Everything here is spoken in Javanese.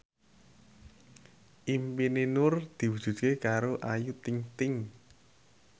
impine Nur diwujudke karo Ayu Ting ting